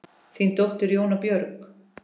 Þín dóttir, Jóna Björg.